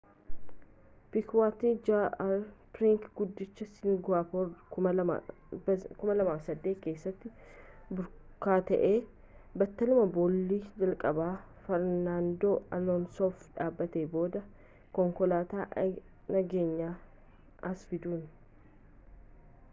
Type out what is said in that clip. pikuweet jr piriiks guddicha singaappoor 2008 keessatti burkutaa'e battaluma boolli jalqabaa fernaandoo aloonsoof dhaabatee booda konkolaataa nageenyaas as fiduun